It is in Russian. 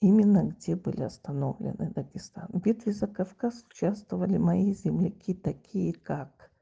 именно где были остановлены дагестан битве за кавказ участвовали мои земляки такие как